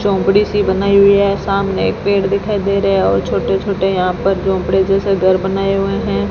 झोपड़ी सी बनाई हुई है सामने एक पेड़ दिखाई दे रहा है और छोटे छोटे यहां पर झोपड़े जैसा घर बनाए हुए हैं।